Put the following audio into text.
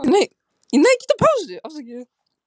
Ekki fara í hart